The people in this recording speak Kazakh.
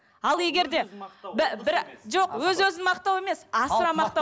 ал егер де бір жоқ өз өзін мақтау емес асыра мақтау